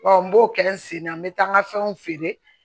n b'o kɛ n sen na n bɛ taa n ka fɛnw feere